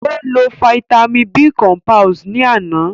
Ó lo fáítámì B cọmpílẹ̀s ni àná